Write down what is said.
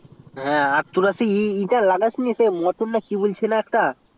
আর তোরা ই তা মানে মোটরছুটি না কি বলছে একটা